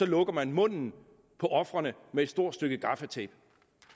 lukker munden på ofrene med et stort stykke gaffatape